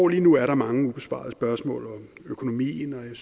lige nu er der mange ubesvarede spørgsmål om økonomien og jeg